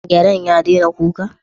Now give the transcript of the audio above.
Gyaren ya daina kuka?